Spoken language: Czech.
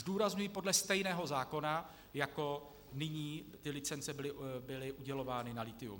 Zdůrazňuji, podle stejného zákona, jako nyní ty licence byly udělovány na lithium.